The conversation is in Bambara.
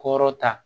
Kɔrɔ ta